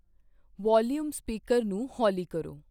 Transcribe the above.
Volume speaker ਨੂੰ ਹੌਲੀ ਕਰੋ।